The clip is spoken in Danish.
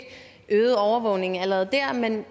øget overvågning allerede der men